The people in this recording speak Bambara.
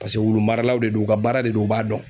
Paseke wulu maralaw de don u ka baara de don u b'a dɔn.